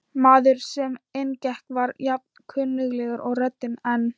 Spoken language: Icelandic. Maðurinn sem inn gekk var jafn kunnuglegur og röddin, en